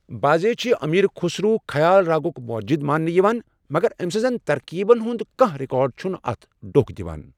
بعضے چھِ امِیر خسرو خیال راگُک موجد مانٛنہ یوان، مگر أمۍ سٕنٛزن ترکیبن ہُنٛد کانہہ ریکارڈ چھُنہٕ اتھ ڈوٚکھ دوان۔